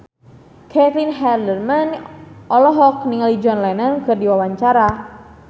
Caitlin Halderman olohok ningali John Lennon keur diwawancara